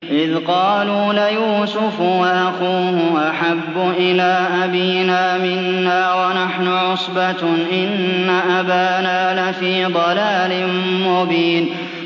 إِذْ قَالُوا لَيُوسُفُ وَأَخُوهُ أَحَبُّ إِلَىٰ أَبِينَا مِنَّا وَنَحْنُ عُصْبَةٌ إِنَّ أَبَانَا لَفِي ضَلَالٍ مُّبِينٍ